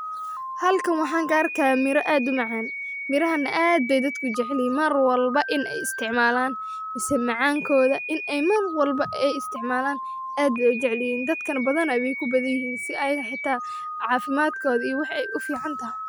Hallka maxaa gaar ka eemiro aad u macaan. Mirahan aad day dadku jecelihin marwalba in ay isticmaalaan, isaga macaankooda in ay marwalba ee isticmaalaan aad u jeclin. Dadka badana bi ku badiyay si ay hitaa caafimaadkoodii waxay u fiican tahay.